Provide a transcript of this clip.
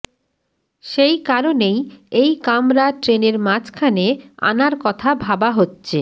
সেই কারণেই এই কামরা ট্রেনের মাঝখানে আনার কথা ভাবা হচ্ছে